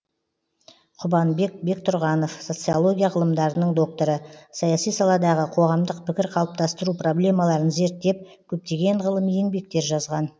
құбанбек бектұрғанов социология ғылымдарының докторы саяси саладағы қоғамдық пікір қалыптастыру проблемаларын зерттеп көптеген ғылыми еңбектер жазған